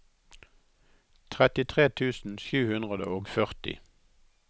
trettitre tusen sju hundre og førti